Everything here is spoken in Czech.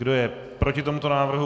Kdo je proti tomuto návrhu?